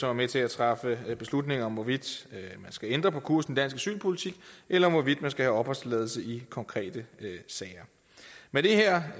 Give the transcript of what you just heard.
er med til at træffe beslutninger om hvorvidt der skal ændres på kursen asylpolitik eller om hvorvidt skal have opholdstilladelse i konkrete sager med det her